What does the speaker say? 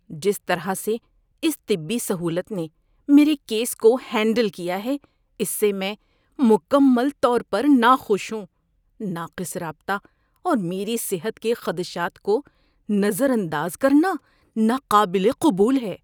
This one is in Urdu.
جس طرح سے اس طبی سہولت نے میرے کیس کو ہینڈل کیا ہے اس سے میں مکمل طور پر ناخوش ہوں۔ ناقص رابطہ اور میری صحت کے خدشات کو نظر انداز کرنا ناقابل قبول ہے۔